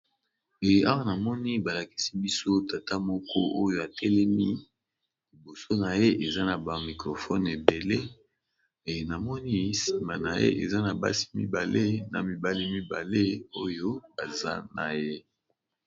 Awa namoni balakisi biso tata moko oyo atelemi liboso na ye eza na ba microphone mibale namoni sima naye basi mibale na mibali mibale oyo baza naye.